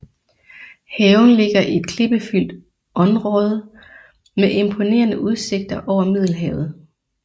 Haven ligger i et klippefyldt onråde med imponerende udsigter over Middelhavet